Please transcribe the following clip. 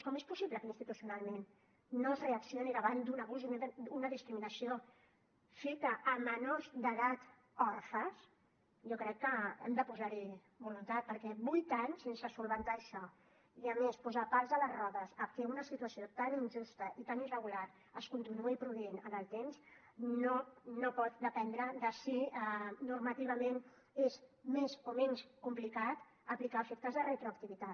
com és possible que institucionalment no es reaccioni davant d’un abús i una discriminació fetes a menors d’edat orfes jo crec que hem de posar hi voluntat perquè vuit anys sense solucionar això i a més posar pals a les rodes a que una situació tan injusta i tan irregular es continuï produint en el temps no pot dependre de si normativament és més o menys complicat aplicar a efectes de retroactivitat